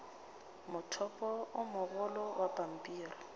mothopo o mogolo wa pampiri